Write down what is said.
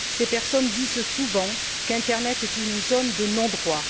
Ces personnes disent souvent qu'internet est une zone de non droit.